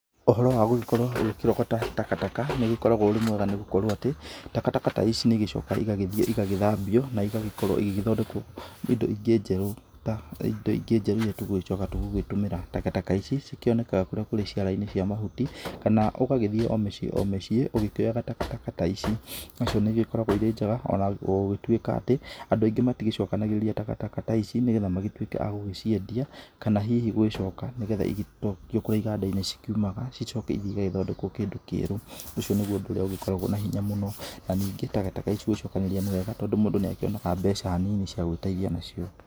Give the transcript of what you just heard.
Ũhoro wa gũgĩkorwo ũkĩrogata takataka nĩ ũrĩkoragwo ũrĩ mwega nĩ gũkorwo atĩ takataka ta ici nĩ igĩcokaga igagĩthiĩ igagĩthambio, na igakorwo igĩgĩthondekwo indo ingĩ njerũ ta indo ingĩ njeru iri tũgũgĩcoka gũgĩtũmĩra. Takataka ici ikionekaga kũrĩa kũrĩ ciara-inĩ cia mahuti kana ũgagĩthiĩ o mĩciĩ o mĩciĩ, ũgĩkĩoyaga takataka ta ici. Nacio nĩ igĩkoragwo irĩ njega ona gugĩtuĩka atĩ andũ aingĩ matigĩcokanagĩrĩria takataka ta ici nĩ getha magĩtuĩke agũgĩciendia. Kana hihi gũgicoka nĩ getha igĩcokio kũria iganda-ini ciumaga icoke ithĩ igagĩthondekwo kĩndũ kĩerũ. Ũcio nĩguo ũndũ ũrĩa ũgĩkoragwo na hinya mũno na ningĩ takataka ici gũgĩcokanĩrĩria nĩ wega tondũ mũndũ nĩ akĩonaga mbeca nini cia gwĩteithia nacio.